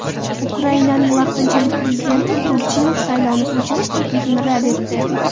Ukrainaning vaqtinchalik prezidenti Turchinov saylovni ko‘chirish taklifini rad etdi.